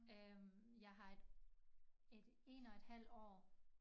Øh jeg har et et 1 og et halvt år